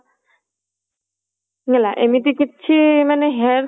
ହେଲା ଏମିତି କିଛି ମାନେ